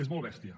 és molt bèstia